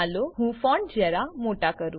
ચાલો હું ફોન્ટ જરા મોટા કરું